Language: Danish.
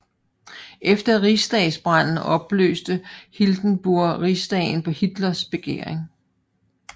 Efter rigsdagsbranden opløste Hindenburg Rigsdagen på Hitlers begæring